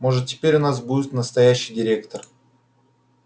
может теперь у нас будет настоящий директор